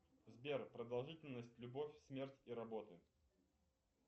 сбер продолжительность любовь смерть и работы